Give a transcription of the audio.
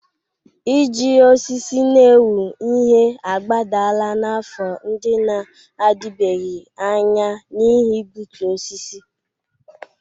Iji osisi na-ewu ihe agbadala n'afọ ndị na-adịbeghị anya n'ihi igbutu osisi.